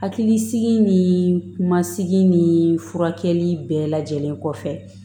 Hakilisigi ni kumasigi ni furakɛli bɛɛ lajɛlen kɔfɛ